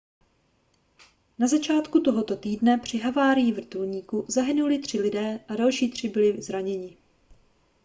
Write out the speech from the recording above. na začátku tohoto týdne při havárii vrtulníku zahynuli tři lidé a další tři byli zraněni